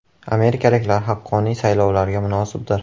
“Amerikaliklar haqqoniy saylovlarga munosibdir.